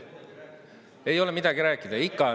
Ei ole midagi rääkida?